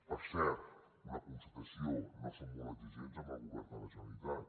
per cert una constatació no som molt exigents amb el govern de la generalitat